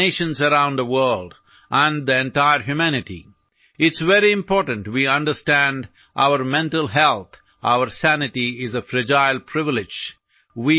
അത് ഓരോ വ്യക്തിയുടെയും ജീവിതത്തിലേക്ക് ഒരു സമൂഹത്തിന്റെയും ലോകമെമ്പാടുമുള്ള രാഷ്ട്രങ്ങളുടെയും മുഴുവൻ മാനവികതയിലേക്കും സാംസ്കാരിക ജീവിതത്തിലേക്കും കൊണ്ടുവരേണ്ട ഒന്നാണ്